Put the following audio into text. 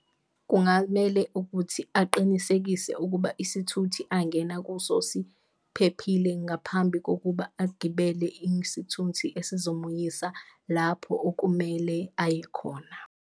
Kungamele ukuthi aqinisekise ukuba isithuthi angena kuso siphephile, ngaphambi kokuba agibele esizomuyisa lapho okumele aye khona.